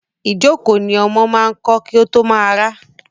Ìjókòó ni ọmọ máa ń kọ́ kí ó tó máa rá.